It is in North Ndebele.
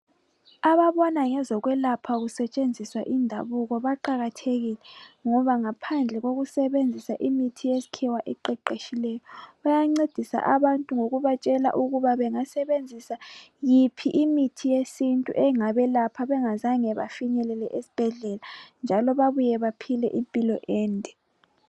Ababona ngezokwelapha kutshenziswa indabuko baqakathekile ngoba ngaphandle kokusebenzisa imithi yesikhiwa eqeqetshikeyo bayancedisa abantu ngokubatshela yiphi imithi yesintu engabelapha bengazange bafike esibhedlela njalo baphile impilo ende.